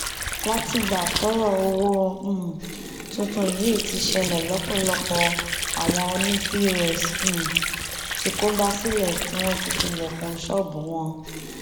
látìgbà tọrọ owó um tuntun yìí ti ṣẹlẹ lọpọlọpọ àwọn ọnì pọs um ti kógbá sílé tí wọn ti tilẹkùn ṣọọbù wọn